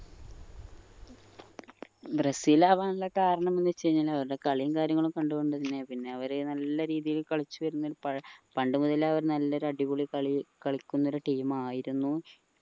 Brazil അവനുള്ള കാരണം ന്ന് വെച് കഴിഞ്ഞ അവരുടെ കളിയും കാര്യങ്ങളും കണ്ടോണ്ട് തന്നെ പിന്നെ അവര് നല്ല രീതിയിൽ കളിച്ചു വരുന്ന പ്പ പണ്ട് മുതലേ അവർ നല്ലൊരു അടിപൊളി കളി കളിക്കുന്ന ഒരു team ആയിരുന്നു